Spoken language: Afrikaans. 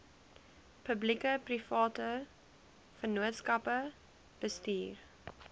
publiekeprivate vennootskappe bestuur